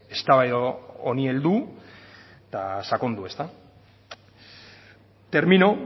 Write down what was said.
eztabaida honi heldu eta sakondu ezta termino